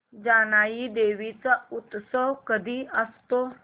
जानाई देवी चा उत्सव कधी असतो